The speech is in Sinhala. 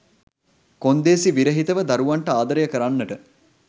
කොන්දේසි විරහිතව දරුවන්ට ආදරය කරන්නට